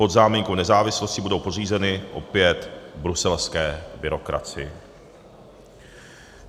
Pod záminkou nezávislosti budou podřízeny opět bruselské byrokracii.